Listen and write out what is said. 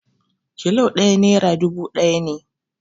Kilo ɗaya nera dubu ɗaya ne